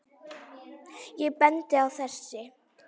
Ég bendi á þessi